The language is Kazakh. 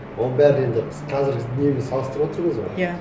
оның бәрі енді қазіргі немен салыстырып отырмыз ғой иә